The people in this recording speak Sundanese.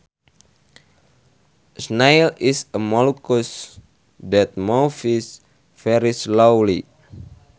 A snail is a mollusc that moves very slowly